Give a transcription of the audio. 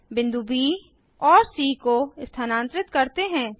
बिंदु ब और सी को स्थानांतरित करते हैं